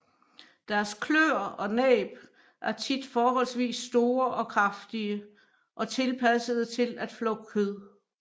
Deres kløer og næb er tit forholdsvis store og kraftige og tilpassede til at flå kød